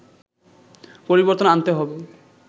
পরিবর্তন আনতে হবে